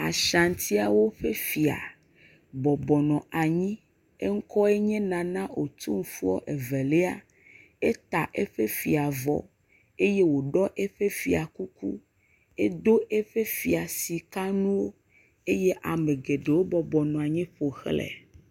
Ashiaŋtiawo ƒe fia bɔbɔnɔ anyi. Eŋkɔe nye Nana Otumfuɔ evelia. Eta eƒe fia vɔ eye woɖɔ eƒe fia kuku hedo eƒe fia sika nuwo. Eye ame geɖewo bɔbɔ nɔ anyi ƒoxlae.